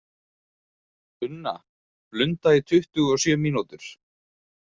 Unna, blunda í tuttugu og sjö mínútur.